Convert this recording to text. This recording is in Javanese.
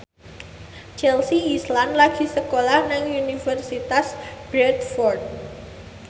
Chelsea Islan lagi sekolah nang Universitas Bradford